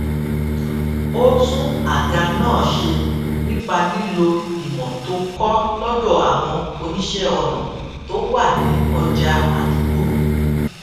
ó tún àga náà ṣe nípa lílo ìmò tó kó lódò àwọn oníṣé ọnà tó wà ní ọjà àdúgbò